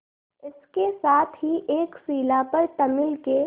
इसके साथ ही एक शिला पर तमिल के